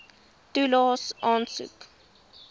toelaes aansoek